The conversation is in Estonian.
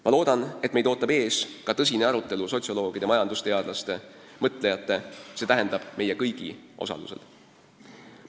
Ma loodan, et meid ootab ees ka tõsine arutelu sotsioloogide, majandusteadlaste, mõtlejate, st meie kõigi osalusel.